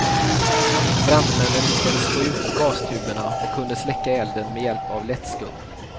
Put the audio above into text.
Brandmännen lyckades få ut gastuberna och kunde släcka elden med hjälp av lättskum.